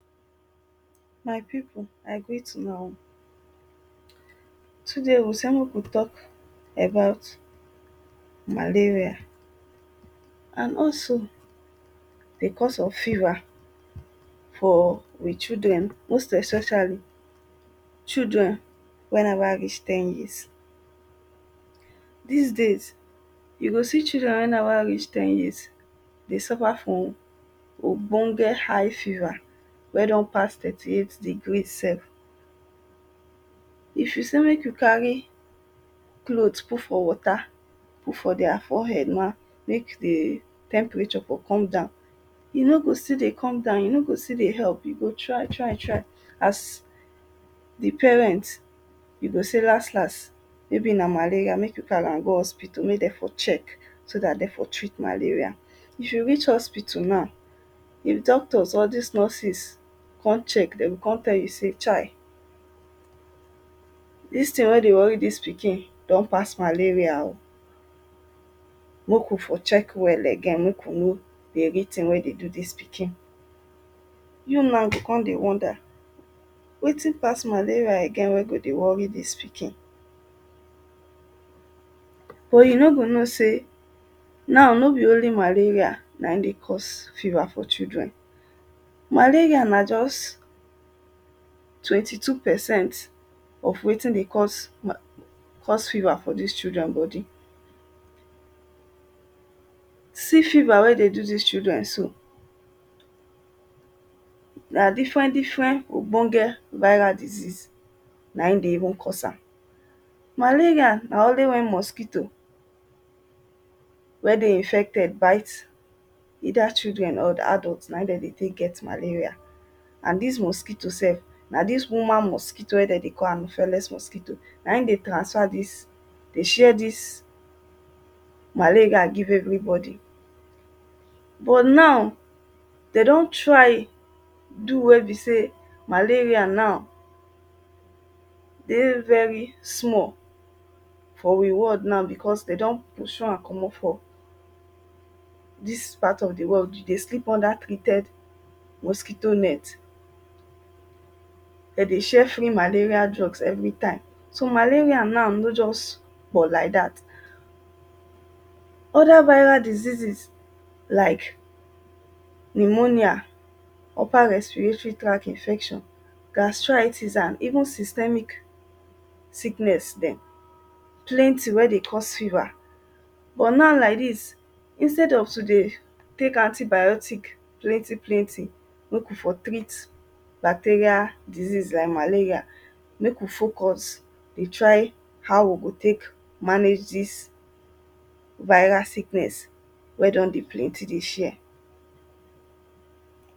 My people I greet una oh, today we say make we talk about malaria and also di cause of fever for we children, most especially children wey never reach ten years. Dis days you go see children wey never reach ten years dey suffer from ogbonge high fever wey don pass thirty eight degree sef, if you sey make you carry clothe put for water, put for their fore head na, make di temperature for come down, e no go still dey come down, e no go still dey help, you go try try try as di parent you go say las las maybe na malaria make you carry am go hospital make dem for check so dat dem for treat malaria, if you reach hospital now if all dis doctors or nurses come check dem go come tell you sey chai, dis thing wen dey worry dis pikin don pass malaria oh, make we for check well again make we know di real thing wen dey do dis pikin. You na go dey wonder wetin pass malaria again wen go dey worry dis pikin, but you no go know sey na no be only malaria na im dey cause fever for children, malaria na only twenty two percent of wetin dey cause fever for dis children for dis children body. See fever wen dey do dis children so na different different ogbonge viral disease na im dey cause am, malaria na only wen infected mosquito bite either children or adult na im dem dey take get malaria and dis mosquito sef na dis woman mosquito wen dem dey call anopheles mosquito na im dey transfer dis, dey share dis malaria dey give everybody. But now dem don try do wey be sey malaria now dey very small for we world now because dem don pursue am komot for dis part of di world now if you dey sleep under mosquito net, dem dey share free malaria drugs every time so malaria na no just for like dat, oda upper diseases like pneumonia upper respiratory tract infection, gastritis and even systemic sickness dem plenty wey dey cause fever. But now like dis instead of to dey tale antibiotic plenty plenty make we for treat bacteria disease like malaria make we focus dey try how we go take manage dis viral sickness wey don dey plenty dey share.